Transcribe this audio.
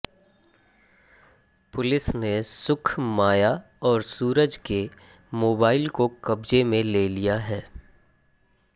police ने सुख माया और सूरज के मोबाइल को कब्जे में ले लिया है